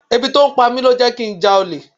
Ebi tí ó ń pa mi ló jẹ́ kí n já olè.